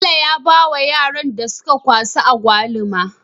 Bello ya bawa yaran da suka wasa agwaluma